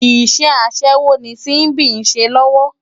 Iṣè aṣèwó ni Simbi n ṣé lòwò